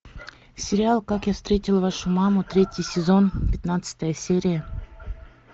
сериал как я встретил вашу маму третий сезон пятнадцатая серия